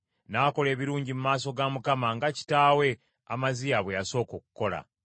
N’akola ebirungi mu maaso ga Mukama , nga kitaawe Amaziya bwe yasooka okukola.